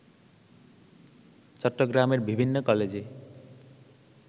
চট্টগ্রামের বিভিন্ন কলেজে